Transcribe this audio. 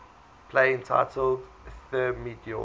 play entitled thermidor